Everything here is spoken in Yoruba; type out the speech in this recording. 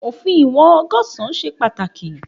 Òfin ìwòn ọgọsan ṣe pàtàkì